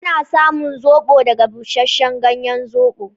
Ana samun zobo daga bushashen ganyen Zobo.